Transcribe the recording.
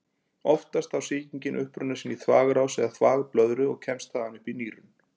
Oftast á sýkingin uppruna sinn í þvagrás eða þvagblöðru og kemst þaðan upp í nýrun.